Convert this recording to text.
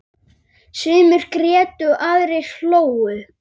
Sumir grétu, aðrir hlógu.